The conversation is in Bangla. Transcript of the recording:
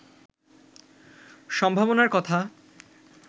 সম্ভাবনার কথা